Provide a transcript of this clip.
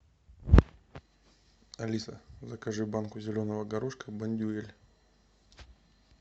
алиса закажи банку зеленого горошка бондюэль